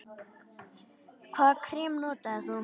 Hvaða krem notar þú?